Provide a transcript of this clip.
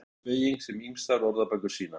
Jú, þetta er sú beyging sem ýmsar orðabækur sýna.